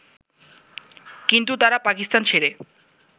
কিন্তু তারা পাকিস্তান ছেড়ে